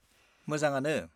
मोजाङानो।